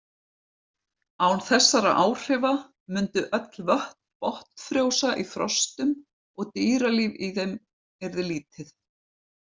Án þessara áhrifa mundu öll vötn botnfrjósa í frostum og dýralíf í þeim yrði lítið.